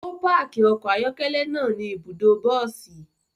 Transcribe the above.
O paaki ọkọ ayọkẹlẹ naa ni ibudo bosi